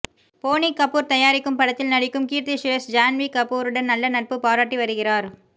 போனி கபூர் தயாரிக்கும் படத்தில் நடிக்கும் கீர்த்தி சுரேஷ் ஜான்வி கபூருடன் நல்ல நட்பு பாராட்டி வருகிறார்